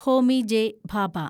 Homi J. Bhabha